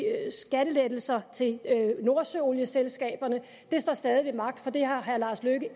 skattelettelser til nordsøolieselskaberne det står stadig ved magt for det har herre lars løkke